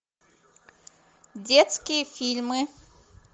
детские фильмы